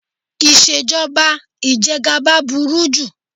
Ìṣèjọba ìjẹgaba burú jù.